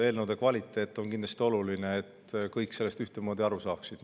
Eelnõu kvaliteet on kindlasti oluline, et kõik sellest ühtemoodi aru saaksid.